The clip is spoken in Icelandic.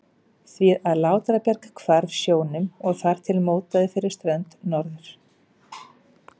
því að Látrabjarg hvarf sjónum og þar til mótaði fyrir strönd Norður-